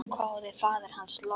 hváði faðir hans loks.